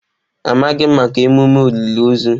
Amaghị m maka emume olili ozu.